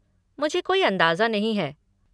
मुझे कोई अंदाजा नहीं है।